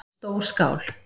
Stór skál